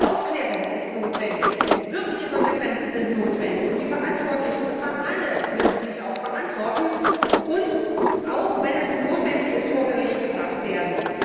Aufklärung ist notwendig, wirkliche Konsequenzen sind notwendig, und die Verantwortlichen und zwar alle müssen sich verantworten und, wenn es notwendig ist, auch vor Gericht gebracht werden.